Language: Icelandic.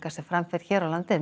sem fram fer hér á landi er